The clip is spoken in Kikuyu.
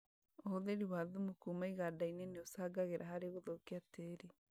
ũhũthĩri wa thumu kuma iganda-inĩ nĩũcangagĩra harĩ gũthũkia tĩri